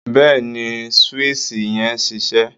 Bẹ́ẹ̀ ni, swíìṣì yẹn ń ṣiṣẹ́